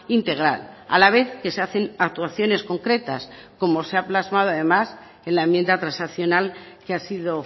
integral a la vez que se hacen actuaciones concretas como se ha plasmado además en la enmienda transaccional que ha sido